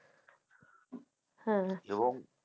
হ্যাঁ